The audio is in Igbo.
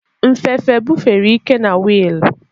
Nfefe bufere ike na wiil.